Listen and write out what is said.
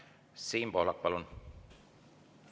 Siim Pohlak, palun!